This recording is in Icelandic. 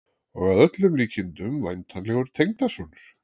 Og að öllum líkindum væntanlegur tengdasonur!